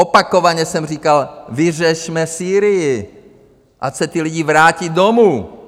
Opakovaně jsem říkal, vyřešme Sýrii, ať se ti lidi vrátí domů!